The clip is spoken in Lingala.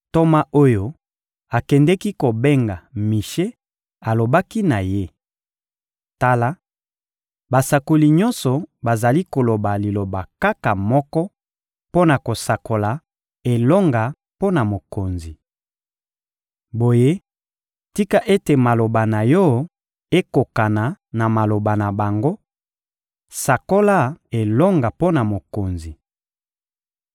Ntoma oyo akendeki kobenga Mishe alobaki na ye: — Tala, basakoli nyonso bazali koloba liloba kaka moko mpo na kosakola elonga mpo na mokonzi. Boye, tika ete maloba na yo ekokana na maloba na bango: sakola elonga mpo na mokonzi.